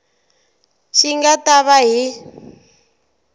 xi nga ta va hi